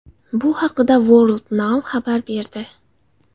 Bu haqda Worldnow xabar berdi .